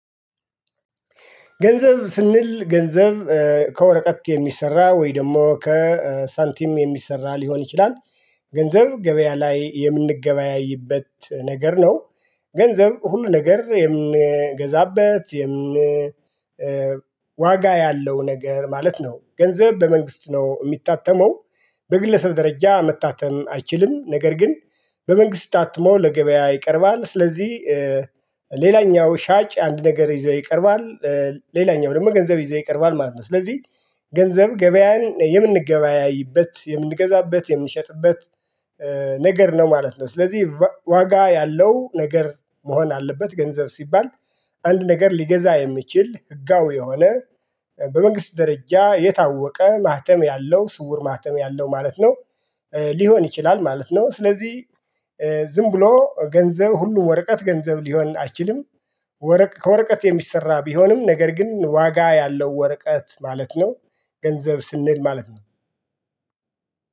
ገንዘብ ስንል ገንዘብ ከወረቀት የሚሰራ ወይ ደግሞ ከሳንቲም የሚሰራ ሊሆን ይችላል። ገንዘብ ገበያ ላይ የምንገበያይበት ነገር ነው። ገንዘብ ሁሉ ነገር የምንገዛበት ዋጋ ያለው ነገር ማለት ነው። ገንዘብ በመንግስት ነው የሚታተመው በግለሰብ ደረጃ መታተም አይችልም። ነገር ግን በመንግስት ታትሞ ለገበያ ይቀርባል። ስለዚህ ሌላኛው ሻጭ አንድ ነገር ይዞ ይቀርባል። ሌላኛው ደግሞ ገንዘብ ይዞ ይቀርባል ማለት ነው። ስለዚህ ገንዘብ ገበያን የምንገበያይበት የምንገዛበት የምንሸጥበት ነገር ነው ማለት ነው። ስለዚህ ዋጋ ያለው ነገር መሆን አለበት። ገንዘብ ሲባል አንድ ነገር ሊገዛ የሚችል ህጋዊ የሆነ በመንግስት ደረጃ የታወቀ ማህተም ያለው ስውር ማህተም ያለው ማለት ነው። ሊሆን ይችላል ማለት ነው። ስለዚህ ዝም ብሎ ገንዘብ ሁሉ ወረቀት ገንዘብ ሊሆን አይችልም። ከወረቀት የሚሰራ ቢሆንም ነገር ግን ዋጋ ያለው ወረቀት ማለት ነው። ገንዘብ ስንል ማለት ነው።